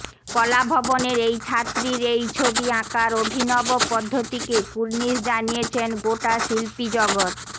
কলাভবনের এই ছাত্রীর এই ছবি আঁকার অভিনব পদ্ধতিকে কুর্ণিশ জানিয়েছেন গোটা শিল্পী জগত